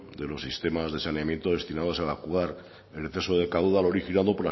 de los sistemas de saneamiento destinados a evacuar el exceso de caudal originado